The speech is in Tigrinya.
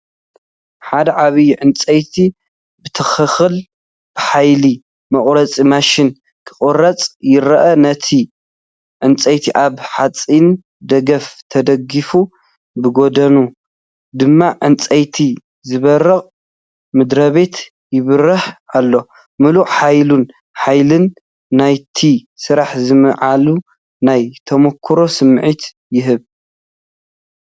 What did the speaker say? ሓደ ዓቢይ ዕንጨይቲ ብትኽክል ብሓያል መቑረጺ ማሽን ክቑረጽ ይረአ። እቲ ዕንጨይቲ ኣብ ሓጺናዊ ደገፍ ተደጊፉ፡ ብጐድኑ ድማ ዕንጨይቲ ዚበርቕ ምድሪቤት ይበርህ ኣሎ። ምሉእ ሓይልን ሓይልን ናይቲ ስራሕ ዝስምዓሉ ናይ ተመኩሮ ስምዒት ይህብ።